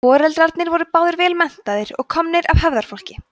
foreldrarnir voru báðir vel menntaðir og komnir af hefðarfólki